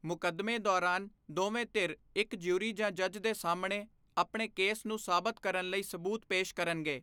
ਮੁਕੱਦਮੇ ਦੌਰਾਨ ਦੋਵੇਂ ਧਿਰ ਇੱਕ ਜਿਊਰੀ ਜਾਂ ਜੱਜ ਦੇ ਸਾਹਮਣੇ ਆਪਣੇ ਕੇਸ ਨੂੰ ਸਾਬਤ ਕਰਨ ਲਈ ਸਬੂਤ ਪੇਸ਼ ਕਰਨਗੇ।